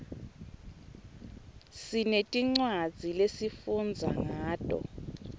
sinetincwadzi lesifundza ngato